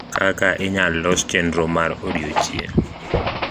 kaka inyal los chenro mar odiochieng